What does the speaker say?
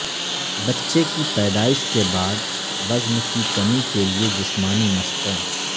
بچے کی پیدائش کے بعد وزن کی کمی کے لئے جسمانی مشقیں